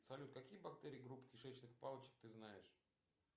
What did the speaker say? салют какие бактерии группы кишечных палочек ты знаешь